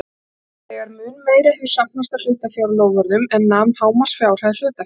þegar mun meira hefur safnast af hlutafjárloforðum en nam hámarksfjárhæð hlutafjár.